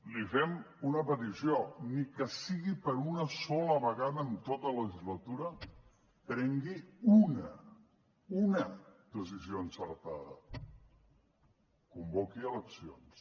li fem una petició ni que sigui per una sola vegada en tota la legislatura prengui una una decisió encertada convoqui eleccions